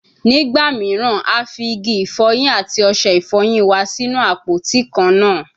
Nigba miiran, a fi igi ifoyin ati ose ifoyin wa sinu apoti kanna